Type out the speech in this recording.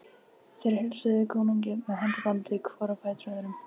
Þeir heilsuðu konungi með handabandi hvor á fætur öðrum.